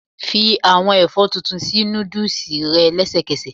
Fi àwọn ẹ̀fọ́ tuntun sí noodles rẹ lẹ́sẹ̀kẹsẹ̀.